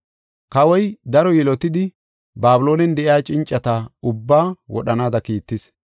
Kawoy daro yilotidi, Babiloonen de7iya cincata ubbaa wodhanaada kiittis.